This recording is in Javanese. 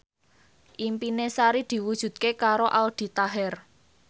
impine Sari diwujudke karo Aldi Taher